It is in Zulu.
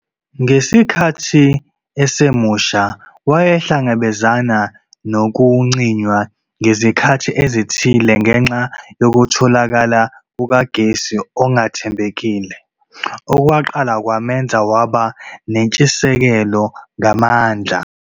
Ngesikhathi esemusha wayehlangabezana nokucinywa ngezikhathi ezithile ngenxa yokutholakala kukagesi okungathembekile, okwaqala kwamenza waba nentshisekelo ngamandla.